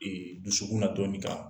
Ee dusukun na dɔɔnin kan